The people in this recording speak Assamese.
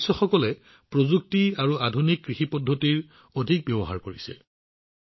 ইয়াৰ সদস্যসকলে প্ৰযুক্তি আৰু আধুনিক কৃষি অনুশীলনৰ সৰ্বাধিক ব্যৱহাৰ কৰি আছে